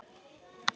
Enga stæla!